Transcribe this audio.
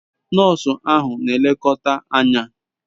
Nosu ahu n'elekota Anya